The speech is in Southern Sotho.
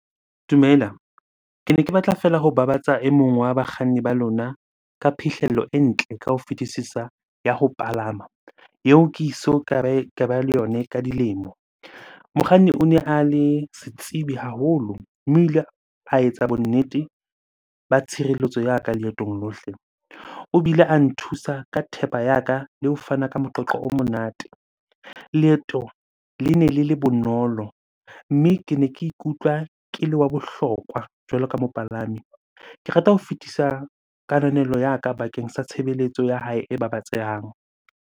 Dumela. Kene ke batla fela ho babatsa e mong wa bakganni ba lona ka phihlello e ntle ka ho fitisisa ya ho palama, eo ke eso ka ba le yona ka dilemo. Mokganni o ne a le setsibi haholo mme o ile a etsa bonnete ba tshireletso ya ka leetong lohle. O bile a nthusa ka thepa ya ka le ho fana ka moqoqo o monate. Leeto lene le le bonolo, mme kene ke ikutlwa ke le wa bohlokwa jwalo ka mopalami. Ke rata ho fetisa kananelo ya ka bakeng sa tshebeletso ya hae e babatsehang.